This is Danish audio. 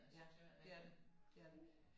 Ja det er det det er det